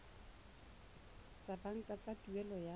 tsa banka tsa tuelo ya